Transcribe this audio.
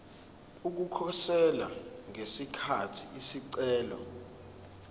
ukukhosela ngesikhathi isicelo